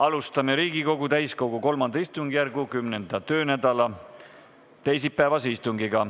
Alustame Riigikogu täiskogu III istungjärgu 10. töönädala teisipäevast istungit.